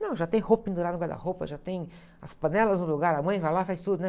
Não, já tem roupa pendurada guarda-roupa, já tem as panelas no lugar, a mãe vai lá e faz tudo, né?